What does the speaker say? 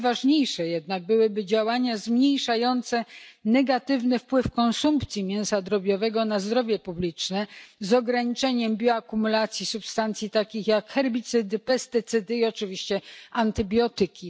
Najważniejsze jednak byłyby działania zmniejszające negatywny wpływ konsumpcji mięsa drobiowego na zdrowie publiczne z ograniczeniem bioakumulacji substancji takich jak herbicydy, pestycydy i oczywiście antybiotyki.